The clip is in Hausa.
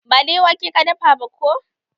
Ba dai wake ka dafa ba ko?